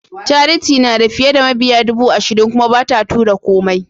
Charity nada fiye da mabiya dubu ashirin kuma bata tura komai.